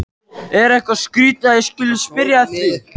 Er eitthvað skrýtið að ég skuli spyrja að því?